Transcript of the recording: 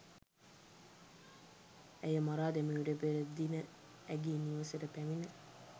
ඇය මරා දැමිමට පෙර දින ඇගේ නිවසට පැමිණ